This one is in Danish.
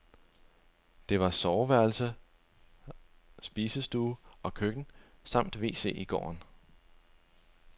Der var soveværelse, spisestue og køkken samt wc i gården.